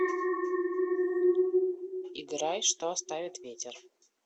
играй что оставит ветер